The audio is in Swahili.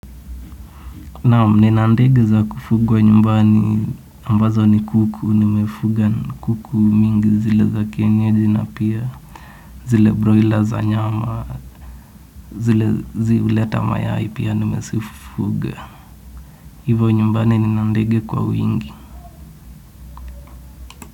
Naam, nina ndege za kufugwa nyumbani ambazo ni kuku nimefuga, ni kuku mingi zile za kienyeji na pia, zile broiler za nyama, zile zi huleta mayai pia nimezifuga. Hivo nyumbani nina ndege kwa wingi.